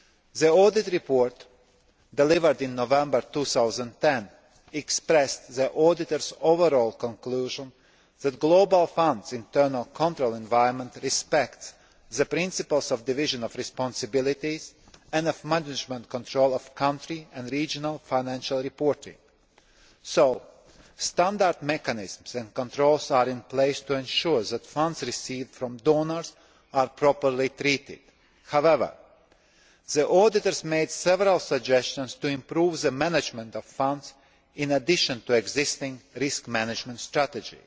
The audit report delivered in November 2010 expressed the auditors' overall conclusion that the Global Fund's internal control environment respects the principles of division of responsibilities and of management control of country and regional financial reporting. So standard mechanisms and controls are in place to ensure that funds received from donors are properly handled. However, the auditors made several suggestions to improve the management of funds in addition to existing risk management strategy.